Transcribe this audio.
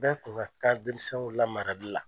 Bɛɛ kun ka kan denmisɛnw la marali la.